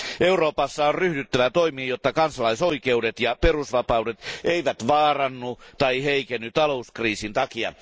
Euroopassa on ryhdyttävä toimiin, jotta kansalaisoikeudet ja perusvapaudet eivät vaarannu tai heikenny talouskriisin takia.